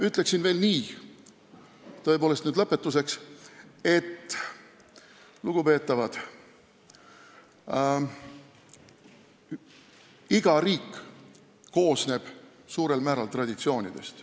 Ütlen veel lõpetuseks nii palju: lugupeetavad, iga riik koosneb suurel määral traditsioonidest.